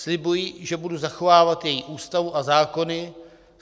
Slibuji, že budu zachovávat její Ústavu a zákony.